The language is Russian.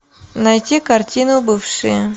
найти картину бывшие